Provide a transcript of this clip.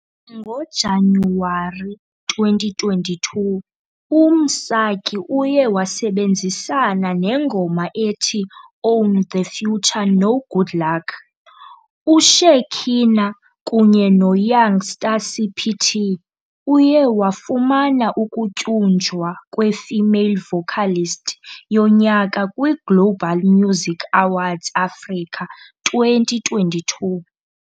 NgoJanuwari 2022, uMsaki uye wasebenzisana nengoma ethi Own The Future noGoodluck, uShekhinah, kunye noYoungstaCPT. Uye wafumana ukutyunjwa kweFemale Vocalist yoNyaka kwiGlobal Music Awards Africa 2022.